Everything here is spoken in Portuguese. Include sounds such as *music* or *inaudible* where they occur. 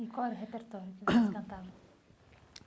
E qual era o repertório que *coughs* você cantava?